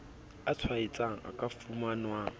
a tshwaetsang a ka fumanwang